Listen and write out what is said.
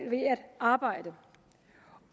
arbejde